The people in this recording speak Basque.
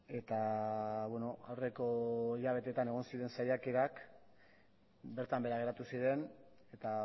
eta aurreko hilabetetan egon ziren saiakerak bertan behera geratu ziren eta